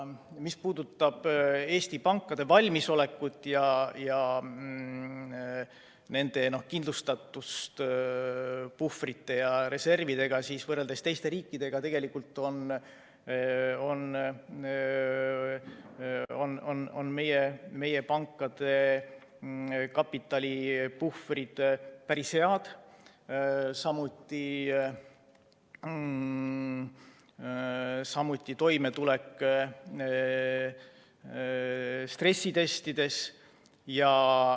Mis puudutab Eesti pankade valmisolekut ja nende kindlustatust puhvrite ja reservidega, siis võrreldes teiste riikidega on meie pankade kapitalipuhvrid tegelikult päris head, samuti toimetulek stressitestides.